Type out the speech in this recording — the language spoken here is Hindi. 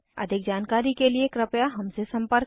अधिक जानकारी के लिए कृपया हमसे संपर्क करें